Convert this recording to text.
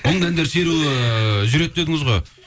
мұңды әндер шеруі жүреді дедіңіз ғой